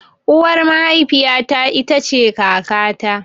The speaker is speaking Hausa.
Uwar mahafiya ta ita ce kaka ta.